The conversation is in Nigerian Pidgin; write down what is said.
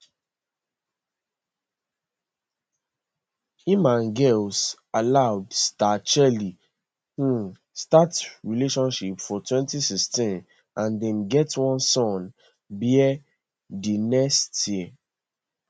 im and girls aloud star cheryl um start relationship for 2016 and dem get one son bear di next year